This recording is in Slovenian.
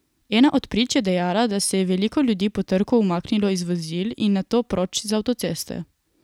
Ena od prič je dejala, da se je veliko ljudi po trku umaknilo iz vozil in nato proč z avtoceste.